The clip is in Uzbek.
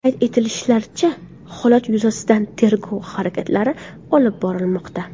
Qayd etishlaricha, holat yuzasidan tergov harakatlari olib borilmoqda.